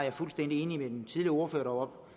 er fuldstændig enig med den tidligere ordfører